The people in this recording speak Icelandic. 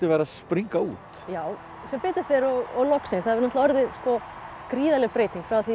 að springa út já sem betur fer og loksins það hefur orðið gríðarleg breyting